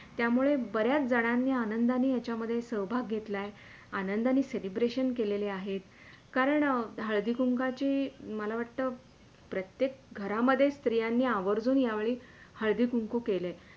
त्यामुळे बऱ्याच जणांनी आनंदाने याच्यामधे सहभाग घेतला आहे आनंदाणी Celebration केलेले आहेत. कारण हळदी कुंकाची मला वाटते प्रत्येक घरामध्ये स्त्रियांनी आवर्जून या वेळी हळदी कुंकू केले.